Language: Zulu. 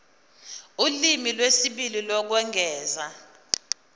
ulimi lwesibili lokwengeza